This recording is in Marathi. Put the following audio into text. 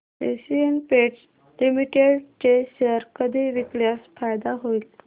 एशियन पेंट्स लिमिटेड चे शेअर कधी विकल्यास फायदा होईल